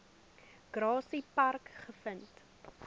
grassy park gevind